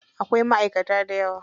Akwai maʼaikata dayawa.